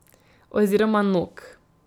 Oziroma nog.